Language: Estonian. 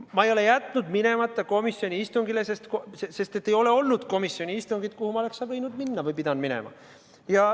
Ma ei ole jätnud minemata komisjoni istungile, sest pole olnud komisjoni istungit, kuhu ma oleksin võinud minna või pidanud minema.